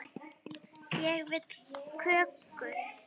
Ég vil kökur.